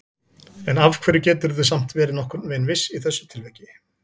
En af hverju geturðu samt verið nokkurn veginn viss í þessu tilviki?